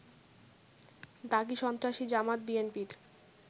দাগী সন্ত্রাসী, জামায়াত-বিএনপির